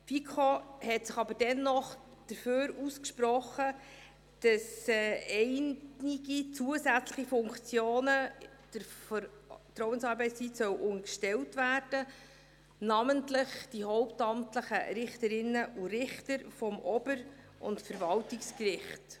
Die FiKo hat sich aber dennoch dafür ausgesprochen, dass einige zusätzliche Funktionen der Vertrauensarbeitszeit unterstellt werden sollen, namentlich die hauptamtlichen Richterinnen und Richter des Obergerichts und des Verwaltungsgerichts.